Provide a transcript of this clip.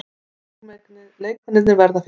Leikmennirnir verða fyrsta vandamálið